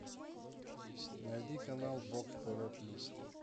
найди канал бокс тв плюс